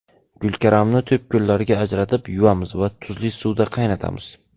Gulkaramni to‘pgullarga ajratib, yuvamiz va tuzli suvda qaynatamiz.